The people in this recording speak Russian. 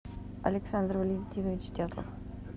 александр валентинович дятлов